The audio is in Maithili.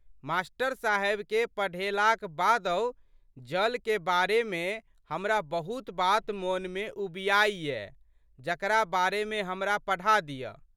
मास्टर साहेबके पढ़ेलाक बादहु जलके बारे मे हमरा बहुत बात मोनमे उबिआइ यै जकरा बारेमे हमरा पढ़ा दिअ?